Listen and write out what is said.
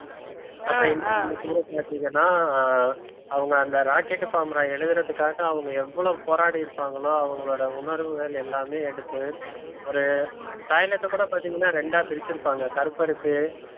பாத்தீங்கன்னா அவங்க அந்த rocket formula எழுதுறதுக்காக அவங்க எவ்வளவு போராடி இருப்பாங்களோ அவங்களோட உணர்வுகள் எல்லாமே எடுத்து ஒரு toilet அ கூட பார்த்தீங்கன்னா இரண்டா பிரிச்சிருப்பாங்க கருப்பருக்கு